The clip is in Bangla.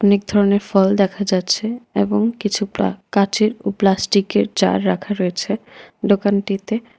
অনেক ধরণের ফল দেখা যাচ্ছে এবং কিছু প্লা কাঁচের ও প্লাস্টিকের জার রাখা রয়েছে দোকানটিতে।